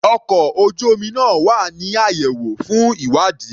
Ọkò ojú omi náà wà ní àyẹ̀wò fún ìwádìí.